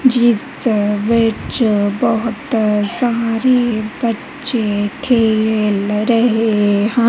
ਜਿਸ ਵਿੱਚ ਬਹੁਤ ਸਾਰੇ ਬੱਚੇ ਖੇਲ ਰਹੇ ਹਨ।